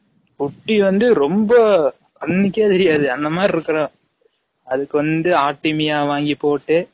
குட்டி வந்து ரொம்ப அன்னிகே விரியாது அந்த மாரி இருக்கும் அதுக்கு வந்து ஆடிமியா வாங்கி போட்டு